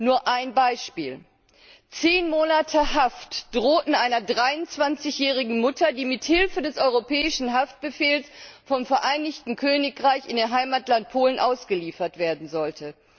Nur ein Beispiel 10 Monate Haft drohten einer 23 jährigen Mutter, die mithilfe des Europäischen Haftbefehls vom Vereinigten Königreich in ihr Heimatland Polen ausgeliefert werden sollte.